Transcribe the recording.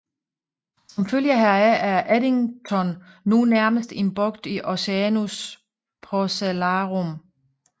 Som følge heraf er Eddington nu nærmest en bugt i Oceanus Procellarum